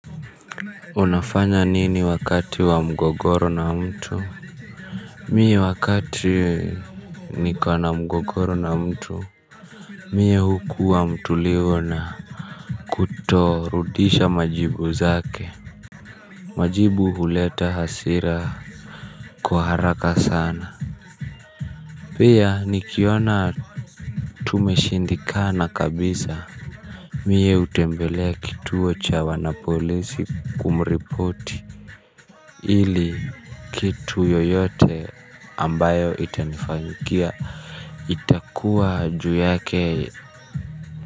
Unafanya nini wakati wa mgogoro na mtu mimi wakati nko na mgogoro na mtu. Mimi huwa mtulivu na kutokurudisha majibu yake. Majibu huleta hasira kwa haraka sana. Pia, nikiona tumeshindwa kabisa mimi hutembelea kituo cha polisi kumripoti ili kitu yoyote kitakachonitokea kiwe juu yake.